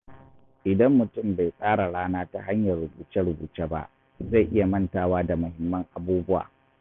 Idan mutum bai tsara rana ta hanyar rubuce-rubuce ba, zai iya mantawa da muhimman abubuwa.